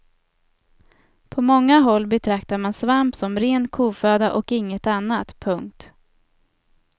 På många håll betraktade man svamp som ren koföda och inget annat. punkt